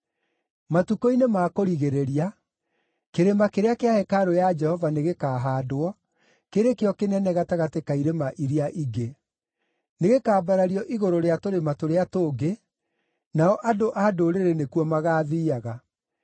Matukũ-inĩ ma kũrigĩrĩria, kĩrĩma kĩrĩa kĩa hekarũ ya Jehova nĩgĩkahaandwo kĩrĩ kĩo kĩnene gatagatĩ ka irĩma iria ingĩ; nĩgĩkambarario igũrũ rĩa tũrĩma tũrĩa tũngĩ, nao andũ a ndũrĩrĩ nĩkuo magaathiiaga.